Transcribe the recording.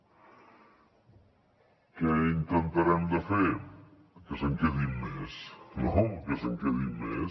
què intentarem de fer que se’n quedin més no que se’n quedin més